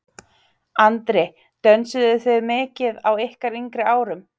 Andri: Dönsuðuð þið mikið á ykkar yngri árum?